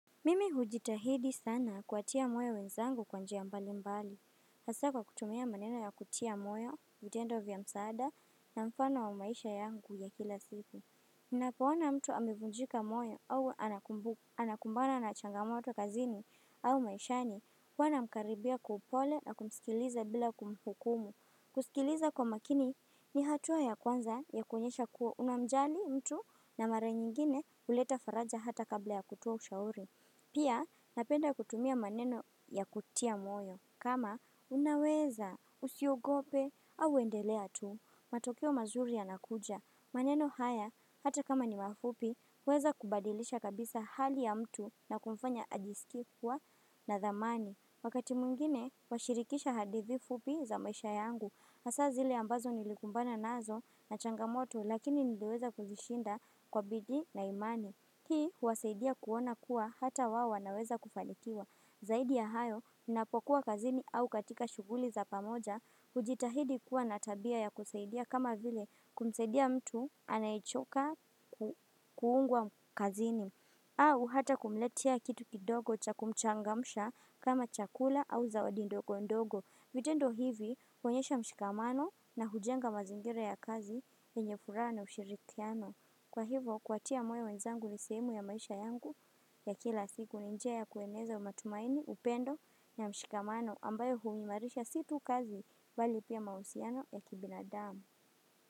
Mimi hujitahidi sana kuwatia moyo wenzangu kwa njia mbali mbali hasa kwa kutumia maneno ya kutia moyo vitendo vya msaada na mfano wa maisha yangu ya kila siku Ninapoona mtu amevunjika moyo au anakumbana na changamoto kazini au maishani huwa namkaribia kwa upole na kumsikiliza bila kumhukumu kusikiliza kwa makini ni hatua ya kwanza ya kuonyesha kuwa unamjali mtu na mara nyingine huleta faraja hata kabla ya kutoa ushauri Pia napenda kutumia maneno ya kutia moyo kama unaweza usiogope au endelea tu matokeo mazuri yanakuja maneno haya hata kama ni mafupi huweza kubadilisha kabisa hali ya mtu na kumfanya ajisikie kuwa na thamani Wakati mwingine huwashirikisha hadithi fupi za maisha yangu hasa zile ambazo nilikumbana nazo na changamoto lakini niliweza kuzishinda kwa bidii na imani Hii huwasaidia kuona kuwa hata wao wanaweza kufanikiwa. Zaidi ya hayo ninapokuwa kazini au katika shughuli za pamoja hujitahidi kuwa na tabia ya kusaidia kama vile kumsaidia mtu anayechoka kuungwa kazini au hata kumletea kitu kidogo cha kumchangamsha kama chakula au zawadi ndogo ndogo vitendo hivi huonyesha mshikamano na hujenga mazingira ya kazi yenye furaha na ushirikiano. Kwa hivyo kuwatia moyo wenzangu ni sehemu ya maisha yangu ya kila siku ni njia ya kueneza matumaini upendo na mshikamano ambayo huimarisha si tu kazi mbali pia mahusiano ya kibinadamu.